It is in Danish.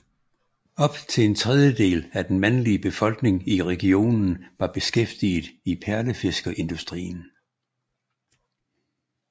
Op til en tredjedel af den mandlige befolkning i regionen var beskæftiget i perlefiskerindustrien